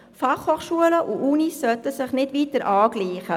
Die FH und die Universitäten sollten sich nicht weiter angleichen.